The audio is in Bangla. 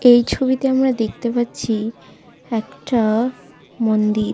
এই ছবিতে আমরা দেখতে পাচ্ছি একটা মন্দির।